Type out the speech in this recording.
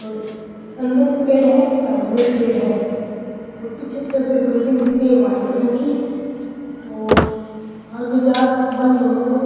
और अंदर भी पेड़ है और साइड में भी पेड़ है और पीछे की तरफ एक बिल्डिंग दिख री है वाइट कलर की और आगे जार बंद होए।